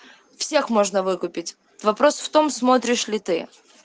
всех можно выкупить вопрос в том смотришь ли ты